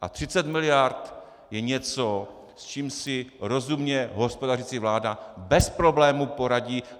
A 30 miliard je něco, s čím si rozumně hospodařící vláda bez problémů poradí.